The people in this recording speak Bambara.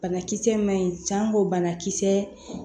Banakisɛ ma ɲi san ko bana kisɛ